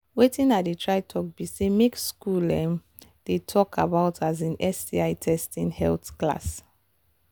watin i they try talk be say make school um they talk about um sti testing health class